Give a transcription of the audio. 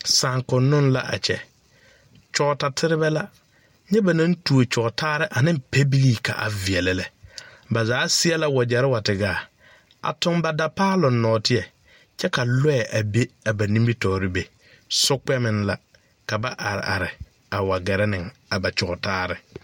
Sããkonnoŋ la a kyɛ kyɔɔtaterebɛ la nyɛ ba naŋ tuo kyɔɔtaare ane pɛbilii ka a veɛlɛ lɛ ba zaa seɛ la wagyɛre wa te gaa a toŋ ba dapaaloŋ nɔɔteɛ kyɛ ka lɔɛ be a ba nimitɔɔre be sokpɛmeŋ la ka ba are are a wa gɛrɛ neŋ a ba kyɔɔtaare.